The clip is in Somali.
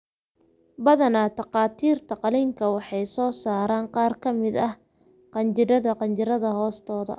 Badanaa, takhaatiirta qalliinka waxay ka saaraan qaar ka mid ah qanjidhada qanjidhada hoostooda.